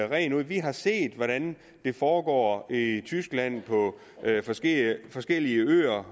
rent ud at vi har set hvordan det foregår i tyskland på forskellige forskellige øer